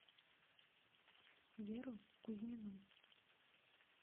веру кузьмину